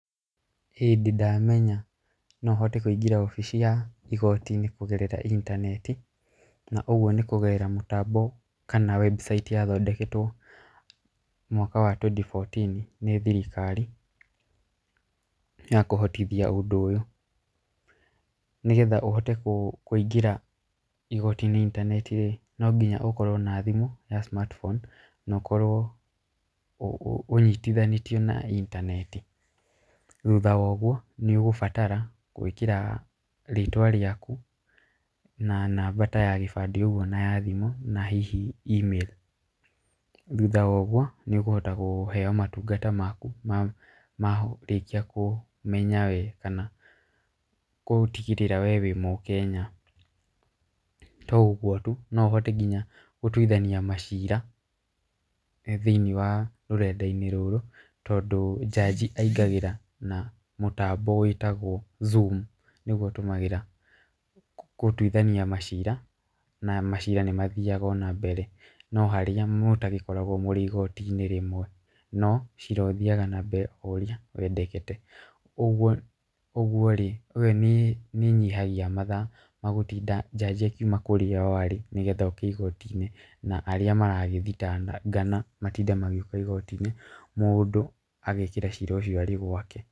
Hĩndĩ ndamenya no hote kũingĩra obici ya igooti-inĩ kũgerera intaneti na ũguo nĩ kũgerera mũtambo kana website yathondeketwo mwaka wa twenty fourteen nĩ thirikari ya kũhotithia ũndũ ũyũ. Nĩgetha ũhote kũingĩra igooti-inĩ intaneti rĩ, no nginya ũkorwo na thimũ ya smart phone na ũkorwo ũnyitithanĩtio na intaneti. Thutha wa ũguo nĩ ũgũbatara gwĩkĩra rĩtwa rĩaku na namba ta ya gĩbandĩ ũguo na ya thimũ na hihi email. Thutha wa ũguo nĩ ũkũhota kũheo matungata maku marĩkia kũmenya we kana gũtigĩrĩra we wĩ mũkenya. To ũguo tu, no ũhote nginya gũtuithania macira e thĩiniĩ wa rũrenda-inĩ rũrũ tondũ judge aingagĩra na mũtambo wĩtagwo zoom nĩguo atũmagĩra gũtuithania macira, na macira nĩ mathiaga na mbere, no harĩa mũtagĩkoragwo mũrĩ igooti-inĩ rĩmwe. No cira ũthiaga na mbere o ũrĩa wendekete. Ũguo rĩ ũyũ nĩ, nĩ ĩnyihagia mathaa ma gũtinda judge akĩuma o kũrĩa arĩ nĩgetha oke igooti-inĩ. Na arĩa marakĩthitangana matinde magĩũka igooti-ĩni, mũndũ agekĩra cira ũcio arĩ gwake.